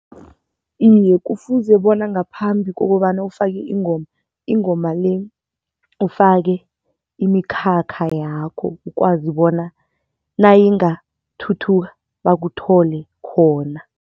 Iye kufuze bona ngaphambi kokobana ufake ingoma, ingoma le ufake imikhakha yakho ukwazi bona nayingathuthuka bakuthole khona.